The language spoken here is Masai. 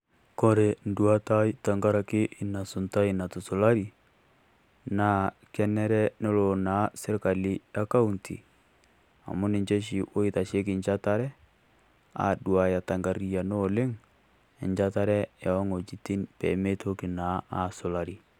Kore duatai tenkaraki ina suntai natusulari, naa kenere nelo naa sirikali e kaunti amu ninchee sii oitaitasheki aduaya ta nkariano oleng enchatare e ong'ojitin pee meetoki naa aisulari.